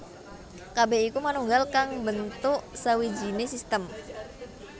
Kabeh iku manunggal kang mbentuk sawijine sistem